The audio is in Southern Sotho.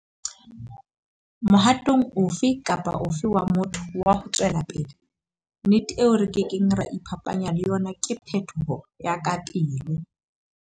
Mohatong ofe kapa ofe wa motho wa ho tswela pele, nnete eo re ke keng ra iphapanya le yona ke phetoho ya kapele.